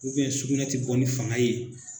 sugunɛ tɛ bɔ ni fanga ye